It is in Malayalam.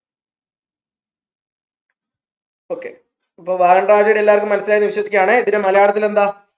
okay അപ്പോ വാഗൺ tragedy എല്ലാവക്കും മനസ്സിലായിന്ന് വിശ്വസിക്കയാണ് ഇതിന് മലയാളത്തിൽ എന്താ